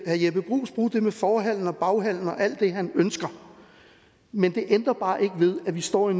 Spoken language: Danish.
herre jeppe bruus bruge det med forhallen og hallen alt det han ønsker men det ændrer bare ikke ved at vi står i